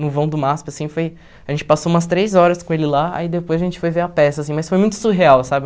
No vão do MASP, assim, foi... A gente passou umas três horas com ele lá, aí depois a gente foi ver a peça, assim, mas foi muito surreal, sabe?